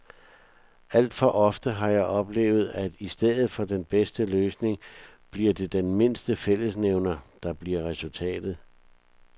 Alt for ofte har jeg oplevet, at i stedet for den bedste løsning bliver det den mindste fællesnævner, der bliver resultatet.